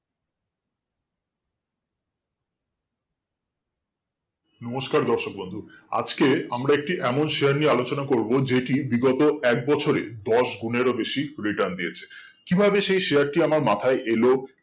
নমস্কার দর্শক বন্ধু আজকে আমরা একটি এমন share নিয়ে আলোচনা করবো যেটি বিগত একবছরে দশ গুণেরও বেশি return দিয়েছে কি ভাবে সেই share টি আমার মাথায় এলো